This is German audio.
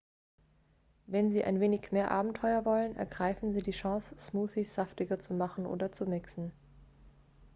wenn sie ein wenig mehr abenteuer wollen ergreifen sie die chance smoothies saftiger zu machen oder zu mixen